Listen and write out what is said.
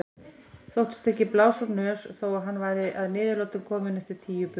Þóttist ekki blása úr nös þó að hann væri að niðurlotum kominn eftir tíu bunur.